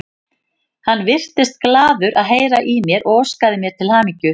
Hann virtist glaður að heyra í mér og óskaði mér til hamingju.